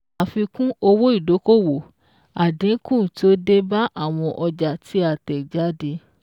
Àfikún owó ìdókòwò: àdínkù tó dé bá àwọn ọjà tí a tẹ̀ jáde